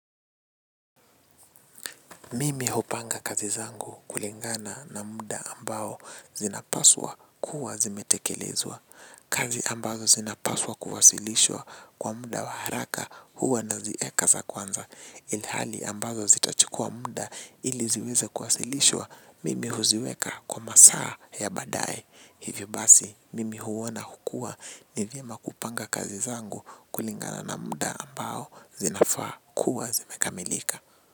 Mimi hupanga kazi zangu kulingana na muda ambao zinapaswa kuwa zimetekelezwa. Kazi ambazo zinapaswa kuwasilishwa kwa muda wa haraka huwa naziweka za kwanza. Ilhali ambazo zitachukua muda ili ziweze kuwasilishwa mimi huziweka kwa masaa ya baadae. Hivyo basi nimeuona kuwa ni vyema kupanga kazi zangu kulingana na muda ambao zinafaa kuwa zimekamilika.